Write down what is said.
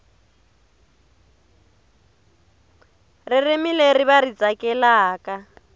ririmi leri va ri tsakelaka